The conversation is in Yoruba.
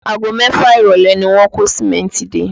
Aago mẹ́fà ìrọ̀lẹ́ ni wọ́n kó Sìmẹ́ntì dé